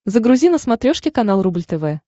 загрузи на смотрешке канал рубль тв